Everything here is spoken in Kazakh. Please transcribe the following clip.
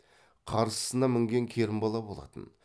қарсысына мінген керімбала болатын